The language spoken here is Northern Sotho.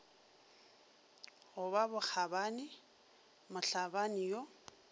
go ba bokgabani mohlabani yo